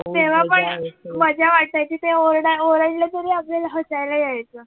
तेव्हा पण मजा वाटायची ते ओरडा ओरडले तरी आपल्याला हसायला यायचं